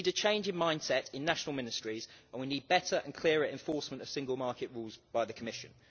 We need a change in mindset in national ministries and we need better and clearer enforcement of single market rules by the Commission.